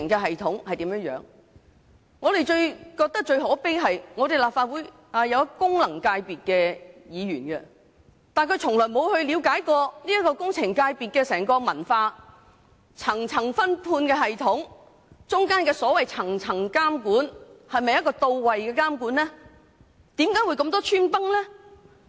我認為最可悲的是，立法會內雖有相關功能界別的議員，但他們從未嘗試了解工程界別的整體文化，一層層的分判系統及當中涉及的層層監管是否到位，以及為何會出現這麼多漏洞。